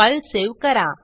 file save करा